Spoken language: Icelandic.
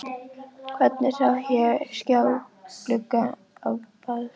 Hvergi sá ég skjáglugga á baðstofum.